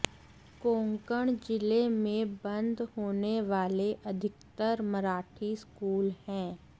कोंकण जिले में बंद होने वाले अधिकतर मराठी स्कूल हैं